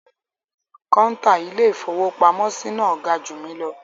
Kọ́ńtà Ilé-ìfowópamọ́sí náà ga jù mí lọ.